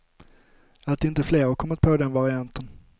Att inte fler kommit på den varianten.